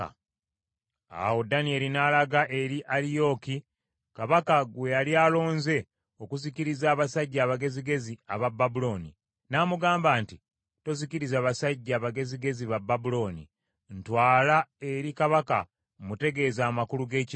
Awo Danyeri n’alaga eri Aliyooki, kabaka gwe yali alonze okuzikiriza abasajja abagezigezi aba Babulooni, n’amugamba nti, “Tozikiriza basajja bagezigezi ba Babulooni. Ntwala eri kabaka mmutegeeze amakulu g’ekirooto kye.”